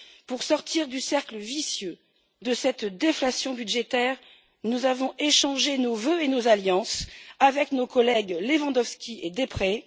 Pour sortir du cercle vicieux de cette déflation budgétaire, nous avons échangé nos vœux et nos alliances avec nos collègues Lewandowski et Deprez.